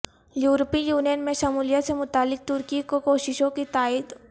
یورپی یونین میں شمولیت سے متعلق ترکی کی کوششوں کی تائید